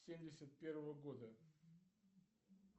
семьдесят первого года